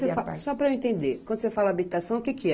Só para eu entender, quando você fala habitação, o que que é?